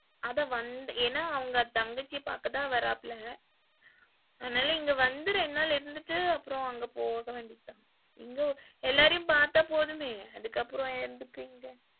அதா வந்த ஏன்னா அவங்க தங்கச்சிய பாக்கத்தான் வராப்புல அதனால இங்க வந்து ரெண்டு நாள் இருந்துட்டு அப்புறம் அங்க போக வேண்டியதுதான். இங்க எல்லாரையும் பாத்தா போதுமே. அதுக்கு அப்புறம் எதுக்கு எங்க?